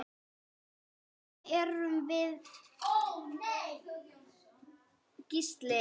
Hverjir erum við Gísli?